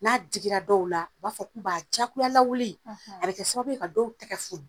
N'a digira dɔw la, u b'a fɔ k'u b'a jagoya lawili a bɛ kɛ sababu ye ka dɔw tɛgɛ fun